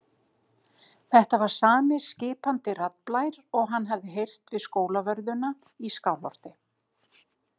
Þetta var sami skipandi raddblær og hann hafði heyrt við Skólavörðuna í Skálholti.